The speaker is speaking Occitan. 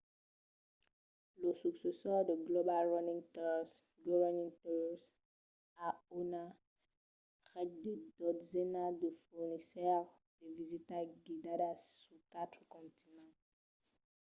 lo successor de global running tours go running tours a una ret de dotzenas de fornisseires de visitas guidadas sus quatre continents